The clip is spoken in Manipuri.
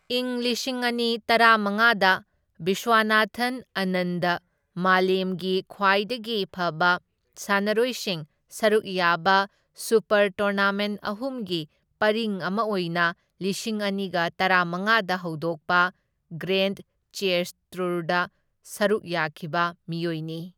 ꯢꯪ ꯂꯤꯁꯤꯡ ꯑꯅꯤ ꯇꯔꯥꯃꯉꯥꯗ ꯕꯤꯁ꯭ꯋꯅꯥꯊꯟ ꯑꯥꯅꯟꯗ ꯃꯥꯂꯦꯝꯒꯤ ꯈ꯭ꯋꯥꯏꯗꯒꯤ ꯐꯕ ꯁꯥꯟꯅꯔꯣꯏꯁꯤꯡ ꯁꯔꯨꯛ ꯌꯥꯕ ꯁꯨꯄꯔ ꯇꯣꯔꯅꯥꯃꯦꯟꯠ ꯑꯍꯨꯝꯒꯤ ꯄꯔꯤꯡ ꯑꯃ ꯑꯣꯏꯅ ꯂꯤꯁꯤꯡ ꯑꯅꯤꯒ ꯇꯔꯥꯃꯉꯥꯗ ꯍꯧꯗꯣꯛꯄ ꯒ꯭ꯔꯦꯟꯗ ꯆꯦꯁ ꯇꯨꯔꯗ ꯁꯔꯨꯛ ꯌꯥꯈꯤꯕ ꯃꯤꯑꯣꯏꯅꯤ꯫